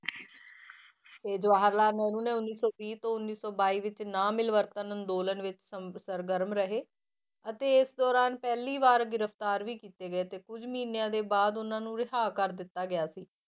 ਤੇ ਜਵਾਹਰ ਲਾਲ ਨਹਿਰੂ ਨੇ ਉਨੀ ਸੌ ਵੀਹ ਤੋਂ ਉੱਨੀ ਸੌ ਬਾਈ ਵਿੱਚ ਨਾ ਮਿਲਵਰਤਨ ਅੰਦੋਲਨ ਵਿੱਚ ਸੰਗ~ ਸਰਗਰਮ ਰਹੇ ਅਤੇ ਇਸ ਦੌਰਾਨ ਪਹਿਲੀ ਵਾਰ ਗ੍ਰਿਫ਼ਤਾਰ ਵੀ ਕੀਤੇ ਗਏ ਤੇ ਕੁੱਝ ਮਹੀਨਿਆਂ ਦੇ ਬਾਅਦ ਉਹਨਾਂ ਨੂੰ ਰਿਹਾਅ ਕਰ ਦਿੱਤਾ ਗਿਆ ਸੀ।